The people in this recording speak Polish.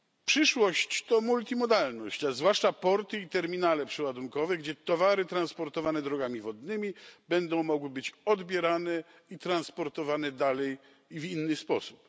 Przyszłość to multimodalność, zwłaszcza porty i terminale przeładunkowe, gdzie towary transportowane drogami wodnymi będą mogły być odbierane i transportowane dalej i w inny sposób.